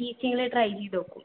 teaching ല് try ചെയ്തോക്കും